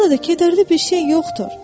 Burada kədərli bir şey yoxdur.